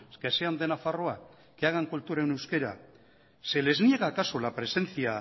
que sean de nafarroa que hagan cultura en euskera se les niega acaso la presencia